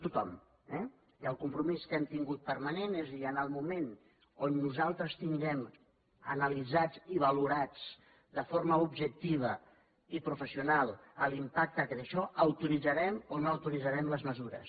tothom eh i el compromís que hem tingut permanent és dir en el moment on nosaltres tinguem analitzat i valorat de forma objectiva i professional l’impacte que té això autoritzarem o no autoritzarem les mesures